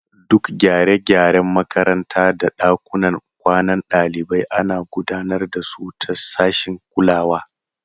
Duk gyare-gyaren makaranta da ɗakunan kwanan ɗalibai ana gudanar da su ta sashin kulawa.